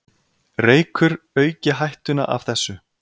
Reykur auki hættuna af þessu.